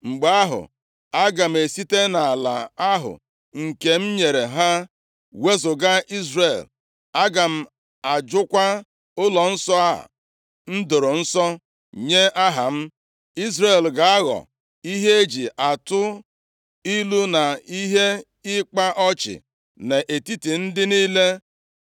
mgbe ahụ, aga m esite nʼala ahụ nke m nyere ha wezuga Izrel. Aga m ajụkwa ụlọnsọ a m doro nsọ nye Aha m. Izrel ga-aghọ ihe eji atụ ilu na ihe ịkpa ọchị nʼetiti ndị niile.